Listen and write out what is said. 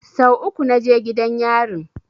Sau uku na je gidan yarin